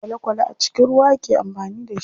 Kwale kwale a cikin ruwa ake amfani da shi.